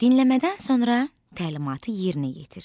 Dinləmədən sonra təlimatı yerinə yetir.